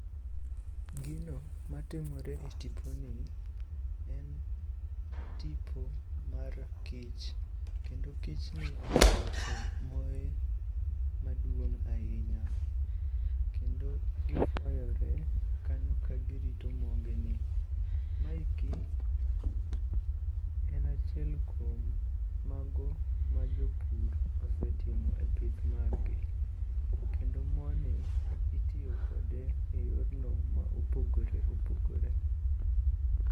Gino matimore e tiponi, en tipo mar kich, kendo kichni oseloso moye maduong' ahinya kendo gifwayore kanyo ka girito mogi ni. Maeki en acchiel kuom mago ma jopur osetimo e pith maggi kendo moni itiyo kode e yorno ma opogore opogore.